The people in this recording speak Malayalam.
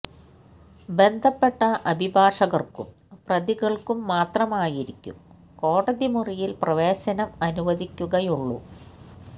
ബന്ധപ്പെട്ട അഭിഭാഷകര്ക്കും പ്രതികള്ക്കും മാത്രമായിരിക്കും കോടതി മുറിയില് പ്രവേശനം അനുവദിക്കുകയുള്ളു